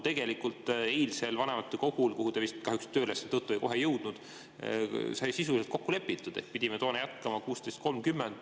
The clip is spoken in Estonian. Tegelikult eilsel vanematekogul, kuhu te vist kahjuks tööülesannete tõttu kohe ei jõudnud, sai sisuliselt kokku lepitud, et pidime jätkama kell 16.30.